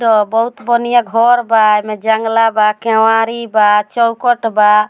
बहुत बनिया घर बा ए में जंगला बा केवाड़ी बा चौखट बा।